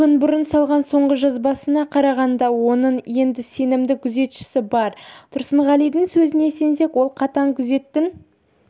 күн бұрын салған соңғы жазбасына қарағанда оның енді сенімді күзетшісі бар тұрсынғалидің сөзіне сенсек ол қатаң күзеттің